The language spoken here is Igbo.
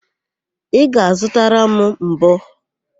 Ị ga-azụtara m mbọ?